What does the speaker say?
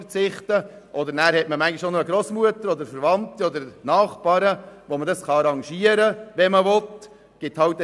Oder manchmal hat man auch eine Grossmutter, Verwandte oder Nachbarn, und man kann sich arrangieren, wenn man es will.